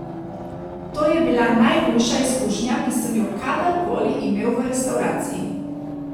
To je bila najhujša izkušnja, ki sem jo kadarkoli imel v restavraciji.